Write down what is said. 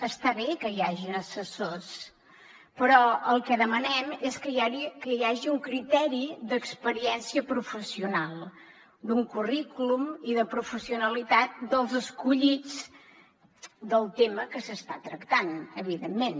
està bé que hi hagin assessors però el que demanem és que hi hagi un criteri d’experiència professional d’un currículum i de professionalitat dels escollits del tema que s’està tractant evidentment